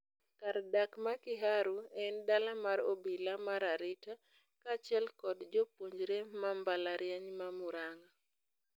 Kar dak ma Kiharu en dala mar obila mar arita kaachiel kod jopuonjre ma mbalariany ma Murang'a.